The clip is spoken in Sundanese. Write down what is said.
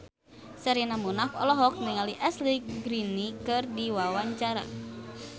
Sherina Munaf olohok ningali Ashley Greene keur diwawancara